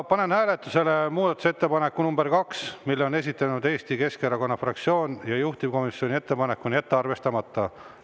Panen hääletusele muudatusettepaneku nr 2, mille on esitanud Eesti Keskerakonna fraktsioon, juhtivkomisjoni ettepanek on jätta arvestamata.